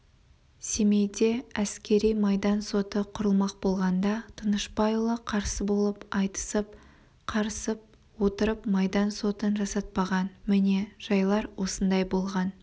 семейде әскери-майдан соты құрылмақ болғанда тынышпайұлы қарсы болып айтысып қарысып отырып майдан сотын жасатпаған міне жайлар осындай болған